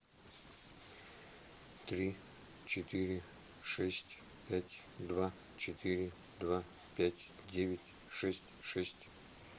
три четыре шесть пять два четыре два пять девять шесть шесть